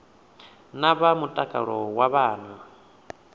na vha mutakalo wa vhana